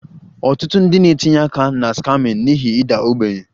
Ọtụtụ ndị na-etinye aka na scamming n'ihi ịda ogbenye